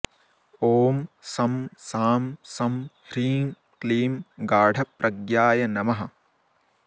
ॐ शं शां षं ह्रीं क्लीं गाढप्रज्ञाय नमः